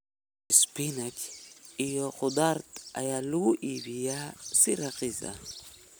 Spinach iyo khudaarta ayaa lagu iibiyaa si raqiis ah.